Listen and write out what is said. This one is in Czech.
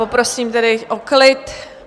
Poprosím tedy o klid.